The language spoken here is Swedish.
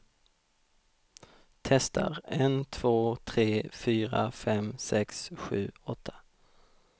Testar en två tre fyra fem sex sju åtta.